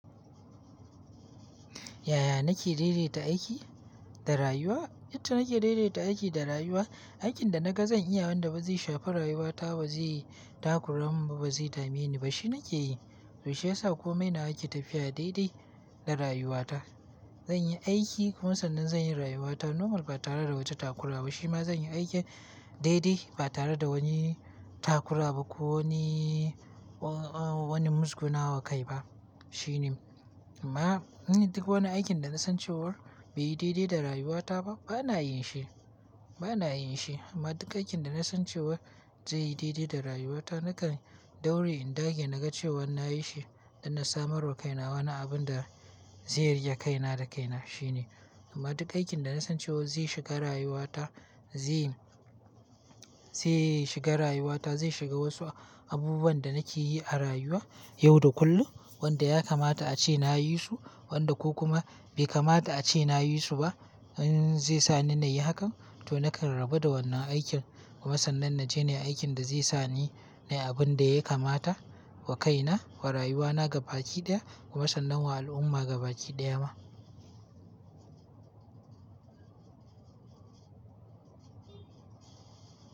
Yaya nake daidaita aiki da rayuwa? Yadda nake daidaita aiki da rayuwa, aikin da naga zan iya wanda ba zai shafa rayuwata ba, ba zai yi takura mun ba, ba zai tamineni ba shine nake yi. To shi ya sa kome ina aiki tafiya daidai da rayuwata. Zanyi aiki kuma sannan zanyi rayuwata normal ba tare da wata takura ba. Shi ma zanyi aikin daidai ba tare da wani takura ba ko wani, uh, wani musgunawa kai ba shine. Amma in duk wani aikin da nasan cewa bai yi daidai da rayuwata ba bana yin shi, bana yin shi. Amma duk aikin da na san cewa zai yi daidai da rayuwata nakan daure in dage na ga cewan na yi shi don na samar wa kaina wani abun da zai riƙe kaina da kaina shine. Amma duk aikin da na san cewa zai shiga rayuwata, zai, zai shiga rayuwata, zai shiga wasu abubuwan da nake yi a rayuwa yau da kullum wanda ya kamata ace nayi su wanda ko kuma bai kamata ace nayi su ba in zai sani nayi hakan to nakan rabu da wannan aikin kuma sannan na je ni aikin da zai sani nayi abun da ya kamata wa kaina, wa rayuwana ga baki ɗaya kuma sannan wa al'umma ga baki ɗaya ma.